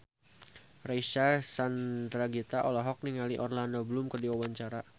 Reysa Chandragitta olohok ningali Orlando Bloom keur diwawancara